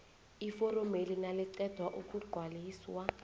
iforomeli naliqeda ukugcwaliswa